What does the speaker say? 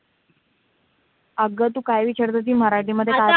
अग तू काय विचारत होती मराठीमध्ये